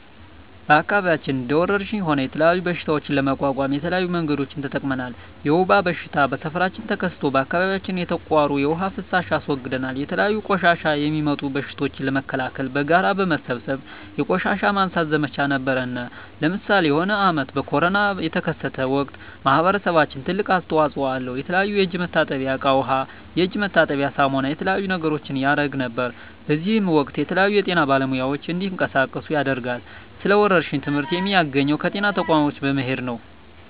በአከባቢያችን እንደ ወረርሽኝ ሆነ የተለያዩ በሽታዎች ለመቋቋም የተለያዩ መንገዶችን ተጠቅመናል የወባ በሽታ በሠፈራችን ተከስቶ በአካባቢያችን የተቃሩ የዉሃ ፋሳሽ አስወግደናል የተለያዩ በቆሻሻ የሚጡም በሽቶችን ለመከላከል በጋራ በመሠብሰብ የቆሻሻ ማንሳት ዘመቻ ነበረነ ለምሳሌ የሆነ አመት ኮርና የተከሰተ ወቅት ማህበረሰባችን ትልቅ አስተዋጽኦ አለው የተለያዩ የእጅ መታጠብያ እቃ ዉሃ የእጅ መታጠቢያ ሳሙና የተለያዩ ነገሮችን ያረግ ነበር በእዚህም ወቅትም የተለያዩ የጤና ባለሙያዎች እንዲቀሳቀሱ ያደርጋል ስለ ወረርሽኝ ትመህርት የሚያገኘው ከጤና ተቋሞች በመሄድ ነው